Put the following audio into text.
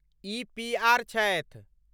ई PR. छथि।